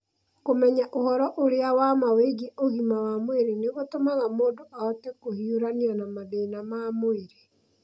Kũmenya ũhoro ũrĩa wa ma wĩgiĩ ũgima wa mwĩrĩ nĩ gũtũmaga mũndũ ahote kũhiũrania na mathĩna ma mwĩrĩ.